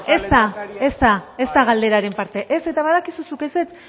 ez da ez da ez da galderaren parte eta badakizu zuk ezetz